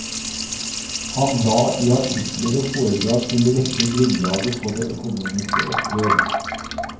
Han la i artikler og foredrag til rette grunnlaget for det økonomiske oppgjør.